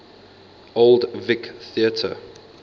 old vic theatre